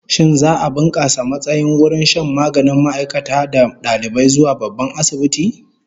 Shin za'a bunkasa matsayin wurin shan maganin ma'aikata da dalibai zuwa babban asibiti?